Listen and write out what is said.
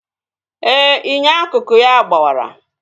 Ee, inyo akụkụ ya gbawara